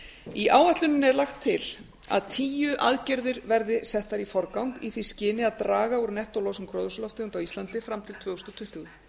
í áætluninni er lagt til að tíu aðgerðir verði settar í forgang í því skyni að draga úr nettólosun gróðurhúsalofttegunda á íslandi fram til tvö þúsund tuttugu